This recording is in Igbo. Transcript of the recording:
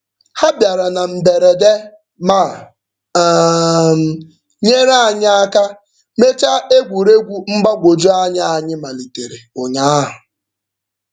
Ha bịara na mberede ma um nyere anyị aka mechaa egwuregwu mgbagwojuanya anyị malitere ụnyaahụ.